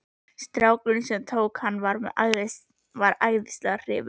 Strákurinn sem tók hana var æðislega hrifinn.